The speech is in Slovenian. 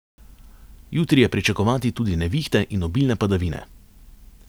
Jutri je pričakovati tudi nevihte in obilne padavine.